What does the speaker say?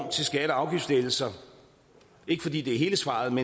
så er straffen